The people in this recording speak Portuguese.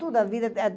Toda a vida.